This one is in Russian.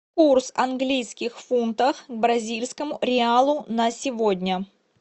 курс английских фунтов к бразильскому реалу на сегодня